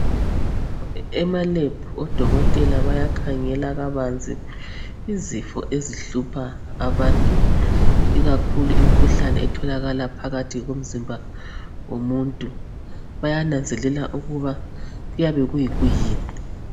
Emalebhu odokotela bayakhangela kabanzi izifo ezihlupha abantu ikakhulu imkhuhlane etholakala phakathi komzimba womuntu bayananzelela ukuba kuyabe kuyikuyini